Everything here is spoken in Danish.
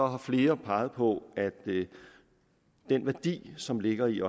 har flere peget på at den værdi som ligger i